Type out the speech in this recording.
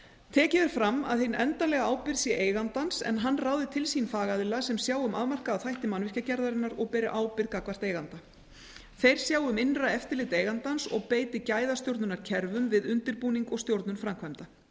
tekið er fram að hin endanlega ábyrgð sé eigandans en hann ráði til sín fagaðila sem sjái um afmarkaða þætti mannvirkjagerðarinnar og beri ábyrgð gagnvart eiganda þeir sjái um innra eftirlit eigandans og beiti gæðastjórnunarkerfum við undirbúning og stjórnun framkvæmda